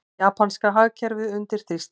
Japanska hagkerfið undir þrýstingi